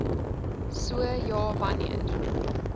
so ja wanneer